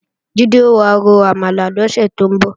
Jídé ò wá ro àmàlà lọ́sẹ̀ tó ń bọ̀